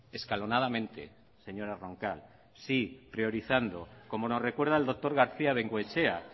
escalonadamente señora roncal sí priorizando como nos recuerda el doctor garcía bengoechea